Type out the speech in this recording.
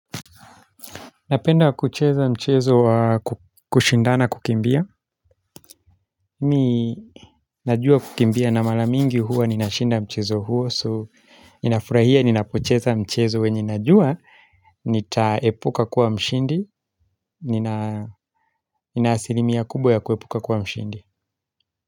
Napenda kucheza mchezo wa kushindana kukimbia Mimi najua kukimbia na mara mingi huwa ninashinda mchezo huo So ninafurahia ninapocheza mchezo wenye najua Nitaepuka kuwa mshindi Ninaasilimia kubwa ya kuepuka kuwa mshindi.